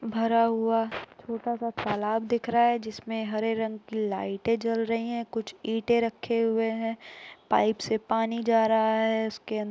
भरा हुआ छोटा सा तालाब दिख रहा है जिसमें हरे रंग की लाइटे जल रही है कुछ ईटे रखे हुए है पाइप से पानी जा रहा है उसके --